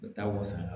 U bɛ taa wasa